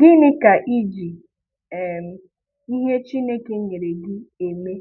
Gịnị ka iji um ihe Chínèké nyere gị emé?